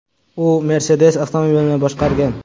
U Mercedes avtomobilini boshqargan.